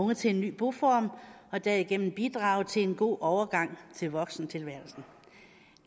unge til en ny boform og derigennem bidrage til en god overgang til voksentilværelsen